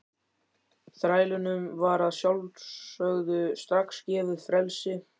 Þrælunum var að sjálfsögðu strax gefið frelsi.